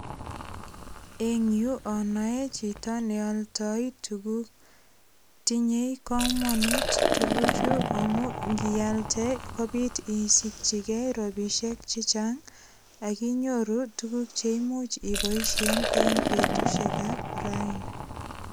Eng yu anoe chito nealdoi tukuk tinyei komonut tukuchu amu ngialde kobit isikchikei ropisiek che chang akinyoru tukuk cheimuch iboishe eng betushek ap raini.